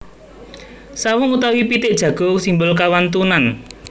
Sawung utawi pitik jago simbol kawantunan